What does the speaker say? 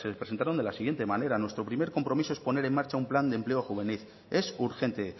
presentaron de la siguiente manera nuestro primer compromiso es poner en marcha un plan de empleo juvenil es urgente